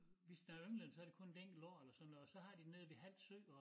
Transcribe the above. Hvis der ynglet så det kun et enkelt år eller sådan noget og så har dem nede ved Hald sø og